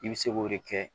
I bɛ se k'o de kɛ